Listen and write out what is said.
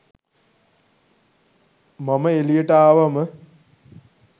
මම එළියට ආවම